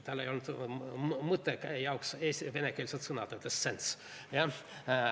Tal ei olnud "mõtte" jaoks venekeelset sõna, ta ütles sense.